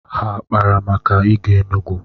Ha akpara maka ịga Enugu?